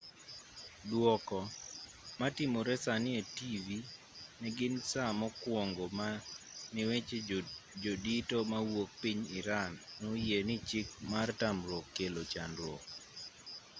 duoko ma timore sani e tivi negin saa mokuongo ma ne weche jodito mawuok piny iran no oyie ni chik mar tamruok kelo chandruok